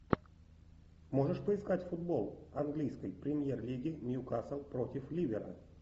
можешь поискать футбол английской премьер лиги ньюкасл против ливера